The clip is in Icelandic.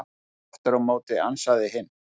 Aftur á móti ansaði hinn: